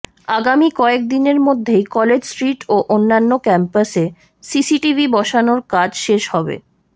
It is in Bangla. আগামী কয়েক দিনের মধ্যেই কলেজ স্ট্রিট ও অন্যান্য ক্যাম্পাসে সিসিটিভি বসানোর কাজ শেষ হবে